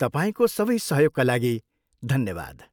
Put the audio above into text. तपाईँको सबै सहयोगका लागि धन्यवाद।